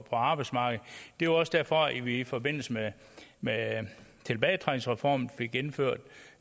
arbejdsmarkedet det var også derfor at vi i forbindelse med med tilbagetrækningsreformen fik gennemført